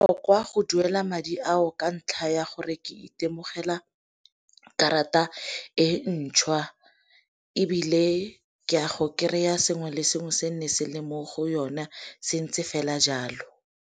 go duela madi ao ka ntlha ya gore ke itemogela karata e ntšhwa, ebile ke a go kry-a ya sengwe le sengwe se nne se le mo go yona se ntse fela jalo.